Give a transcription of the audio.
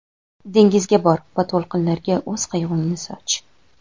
Dengizga bor va to‘lqinlarga o‘z qayg‘ungni soch!.